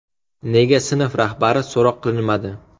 Nega sinf rahbari so‘roq qilinmadi.